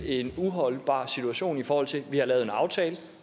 en uholdbar situation i forhold til at vi har lavet en aftale